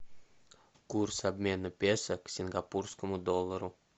курс обмена песо к сингапурскому доллару